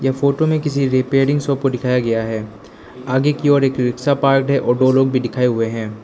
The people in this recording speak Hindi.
फोटो में किसी रिपेयरिंग शॉप को दिखाया गया है आगे की ओर एक रिक्शा पार्क है और दो लोग भी दिखाए हुए हैं।